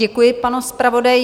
Děkuji panu zpravodaji.